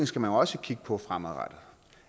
skal man også kigge på fremadrettet